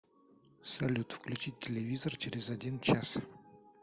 салют включить телевизор через один час